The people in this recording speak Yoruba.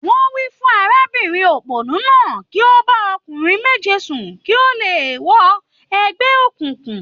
Wọ́n wí fún arábìnrin òpònú náà kí ó bá ọkùnrin méje sùn kí ó tó lè wọ ẹgbẹ́ òkùnkùn.